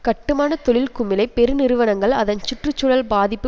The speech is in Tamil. கட்டுமான தொழில் குமிழை பெருநிறுவனங்கள் அதன் சுற்று சூழல் பாதிப்பு